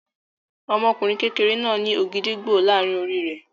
Ọmọkùnrin kékeré náà ní ògìdìgbó láàárin orí rẹ̀.